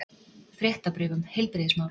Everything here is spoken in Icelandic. Fréttabréf um heilbrigðismál.